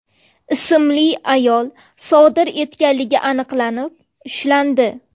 ismli ayol sodir etganligi aniqlanib, ushlandi.